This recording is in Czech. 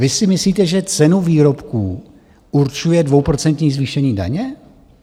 Vy si myslíte, že cenu výrobků určuje dvouprocentní zvýšení daně?